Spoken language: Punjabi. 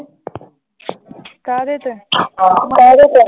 ਕਾਹਦੇ ਤੇ ਕਾਹਦੇ ਤੇ